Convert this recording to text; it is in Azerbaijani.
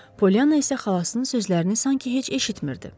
Polyanna isə xalasının sözlərini sanki heç eşitmirdi.